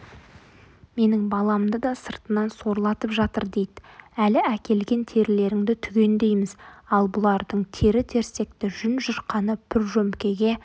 менің баламды да сыртынан сорлатып жатыр дейді әлі әкелген терілеріңді түгендейміз ал бұлардың тері-терсекті жүн-жұрқаны пұржөмкеге